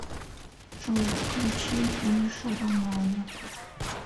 джой включи миша романова